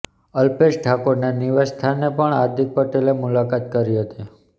અલ્પેશ ઠાકોરના નિવાસસ્થાને પણ હાર્દિક પટેલે મુલાકાત કરી હતી